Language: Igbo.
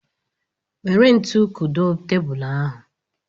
Nwere ntu kudo tebulu ahụ